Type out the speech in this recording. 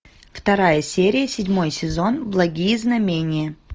вторая серия седьмой сезон благие знамения